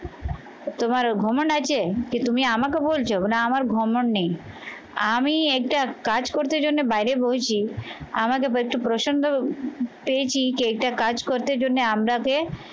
তোমার আছে কি তুমি আমাকে বলছ? না আমার নেই আমি একটা কাজ করতে জন্য বাইরে বসি আমাকে বলছে প্রসন্ন পেয়েছি কি এইটা কাজ করতে জন্যে আপনাকে